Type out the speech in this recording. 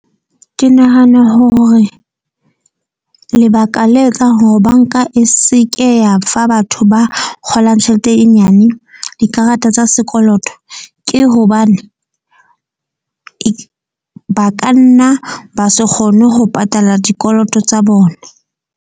Ke nahana hore lebaka le etsang hore bank-a e seke ya fa batho ba kgolang tjhelete e nyane, dikarata tsa sekoloto ke hobane ba kanna ba se kgone ho patala dikoloto tsa bona.